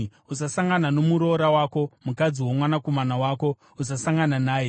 “ ‘Usasangana nomuroora wako, mukadzi womwanakomana wako; usasangana naye.